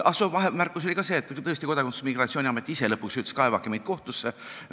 Ah soo, vahemärkusena ütlen, et tõesti Kodakondsus- ja Migratsiooniamet ise lõpuks ütles, et kaevake meid kohtusse.